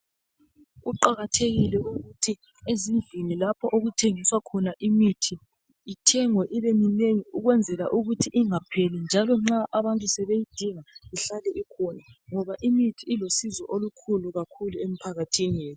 Kuqakathekile ukuthi ezindlini lapho okuthengiswa imithi ithengwe ibemnengi ukwenzela ukuthi ingapheli njalo nxa abantu sebeyidinga ihlale ikhona ngoba imithi ilusizo olukhulu emphakathini